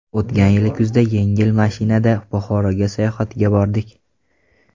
O‘tgan yil kuzda yengil mashinada Buxoroga sayohatga bordik.